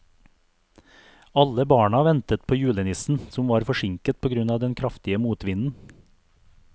Alle barna ventet på julenissen, som var forsinket på grunn av den kraftige motvinden.